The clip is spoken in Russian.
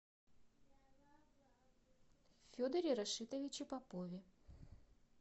федоре рашитовиче попове